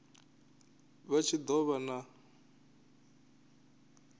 vha tshi do vha na